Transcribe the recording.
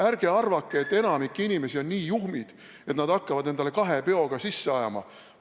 Ärge arvake, et enamik inimesi on nii juhmid, et nad hakkavad endale kahe peoga rohtusid sisse ajama.